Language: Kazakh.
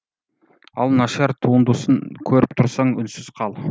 ал нашар туындысын көріп тұрсаң үнсіз қал